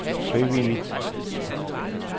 frivilligt